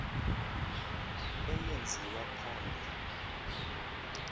eye nziwa phambi